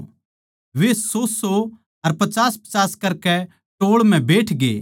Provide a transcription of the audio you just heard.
वे सौसौ अर पचासपचास करकै टोळ म्ह बैठगें